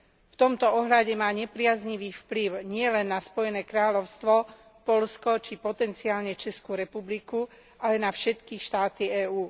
V tomto ohľade má nepriaznivý vplyv nielen na Spojené kráľovstvo, Poľsko, či potenciálne Českú republiku, ale na všetky štáty EÚ.